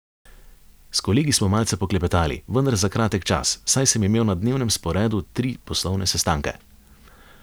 S kolegi smo malce poklepetali, vendar za kratek čas, saj sem imel na dnevnem sporedu tri poslovne sestanke.